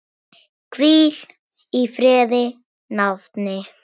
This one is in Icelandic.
Hvíl í friði, nafni.